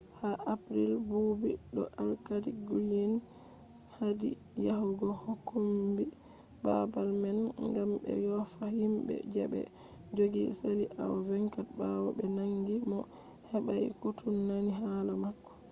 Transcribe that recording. ha april buubi do alkali glynn hadi yahugo kombi babal man gam be yofa himbe je be jogi sali awa 24 bawo be nangi mo hebai koutu nani hala mako